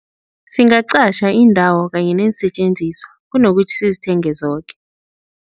Singaqatjha indawo kanye neensetjenziswa kunokuthi sizithenge zoke.